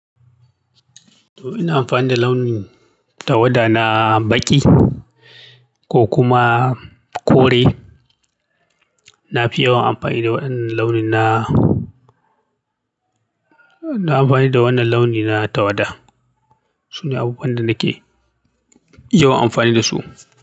To ina amfani da launin tawada na baƙi ko kuma kore. Na fi yawan amfani da waɗannan launin na na, na amfani da waɗannan launina tawada. Su ne abubuwan da nake yawan amfani da su.